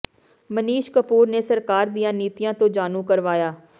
ਮਨੀਸ਼ਾ ਕਪੂਰ ਨੇ ਸਰਕਾਰ ਦੀਆਂ ਨੀਤੀਆਂ ਤੋਂ ਜਾਣੂ ਕਰਵਾਇਆ